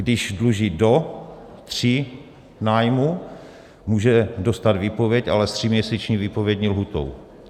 Když dluží do tří nájmů, může dostat výpověď, ale s tříměsíční výpovědní lhůtou.